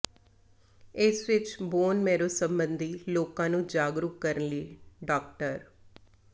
ਇਸ ਵਿੱਚ bone marrow ਸਬੰਧੀ ਲੋਕਾਂ ਨੂੰ ਜਾਗਰੂਕ ਕਰਨ ਲਈ ਡਾ